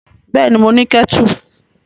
Bẹ́ẹ̀ni, mo ní kẹ́tù.